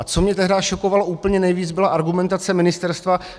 A co mě tehdy šokovalo úplně nejvíc, byla argumentace ministerstva.